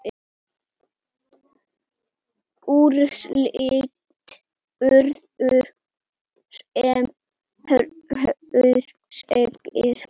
Úrslit urðu sem hér segir